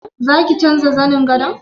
Za ki canja zanen gadon?